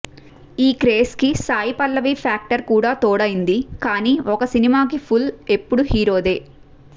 ఈ క్రేజ్కి సాయిపల్లవి ఫ్యాక్టర్ కూడా తోడయింది కానీ ఒక సినిమాకి పుల్ ఎప్పుడూ హీరోదే